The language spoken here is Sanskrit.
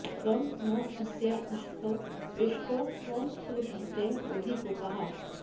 त्वं नो अस्या उषसो व्युष्टौ त्वं सूर उदिते बोधि गोपाः